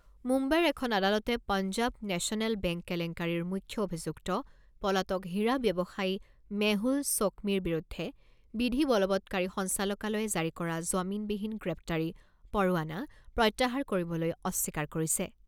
মুম্বাইৰ এখন আদালতে পঞ্জাৱ নেচনেল বেংক কেলেংকাৰীৰ মুখ্য অভিযুক্ত পলাতক হীৰা ব্যৱসায়ী মেহুল চ'ক্মিৰ বিৰুদ্ধে বিধি বলবৎকাৰী সঞ্চালকালয়ে জাৰি কৰা জামিনবিহীন গ্ৰেপ্তাৰী পৰোৱানা প্ৰত্যাহাৰ কৰিবলৈ অস্বীকাৰ কৰিছে।